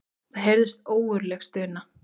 Það heyrðist ógurleg stuna.